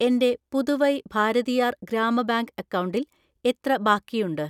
എൻ്റെ പുതുവൈ ഭാരതിയാർ ഗ്രാമ ബാങ്ക് അക്കൗണ്ടിൽ എത്ര ബാക്കിയുണ്ട്?